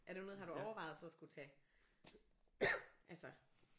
Er det noget har du overvejet så at skulle tage altså